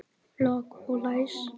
Lok og læs.